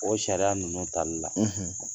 O sariya ninnu tali la